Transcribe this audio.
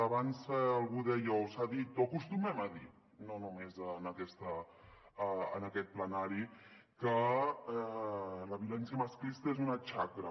abans algú deia o s’ha dit o acostumem a dir no només en aquest plenari que la violència masclista és una xacra